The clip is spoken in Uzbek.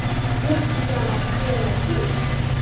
Yirtiq-yamoq qayerdan kelib chiqdi?